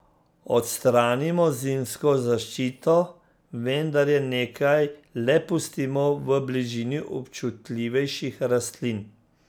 Odstranimo zimsko zaščito, vendar je nekaj le pustimo v bližini občutljivejših rastlin.